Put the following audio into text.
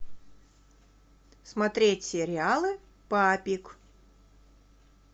смотреть сериал папик